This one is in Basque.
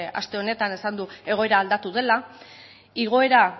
aste honetan esan du egoera aldatu dela igoera